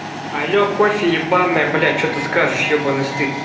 алло кофе ебаное блядь что ты скажешь ёбаный стыд